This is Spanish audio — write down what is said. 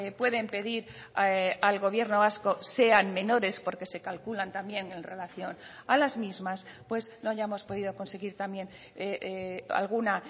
pueden pedir al gobierno vasco sean menores porque se calculan también en relación a las mismas pues no hayamos podido conseguir también alguna